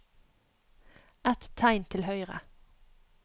Ett tegn til høyre